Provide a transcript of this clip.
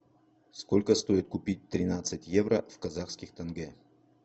сколько стоит купить тринадцать евро в казахских тенге